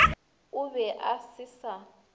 o be a se sa